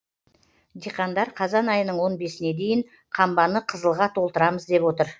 диқандар қазан айының он бесіне дейін қамбаны қызылға толтырамыз деп отыр